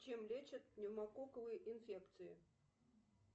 чем лечат пневмококковые инфекции